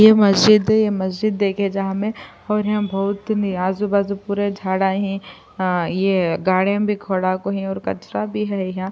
یہ مسجد ہے۔ مسجد دیکھ جہاں مے اور یہاں بھوت نی اجو باجو پورا جھادہ ہی، آ یہ گاڑی بھی کھڈا کو ہی اور کچرا بھی ہے یہاں --